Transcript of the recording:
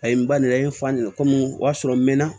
A ye n ba nana a ye n fa nin na komi o y'a sɔrɔ n mɛna